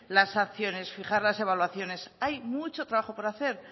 las acciones fijar las evaluaciones hay mucho trabajo por hacer